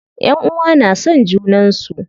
Ƴanʼuwa na son junan su.